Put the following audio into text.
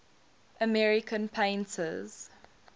american painters